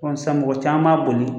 Komi sisan mɔgɔ caman b'a boli